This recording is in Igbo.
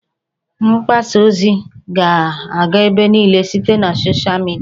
Mgbasa ozi ga-aga ebe niile site na sochịa midia